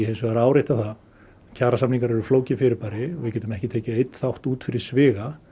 hins vegar árétta það að kjarasamningar eru flókið fyrirbæri við getum ekki tekið einn þátt út fyrir sviga